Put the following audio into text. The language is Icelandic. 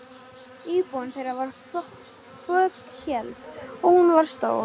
Íbúðin þeirra var fokheld, og hún var stór.